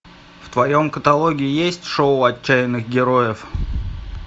в твоем каталоге есть шоу отчаянных героев